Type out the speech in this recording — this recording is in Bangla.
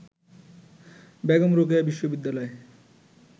বেগম রোকেয়া বিশ্ববিদ্যালয়